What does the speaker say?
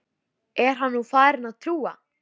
Er hann nú farinn að trúa?